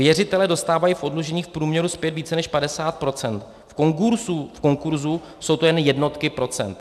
Věřitelé dostávají v oddlužení v průměru zpět více než 50 %, v konkurzu jsou to jen jednotky procent.